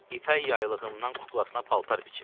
İpək yaylığımdan kuklasına paltar biçib.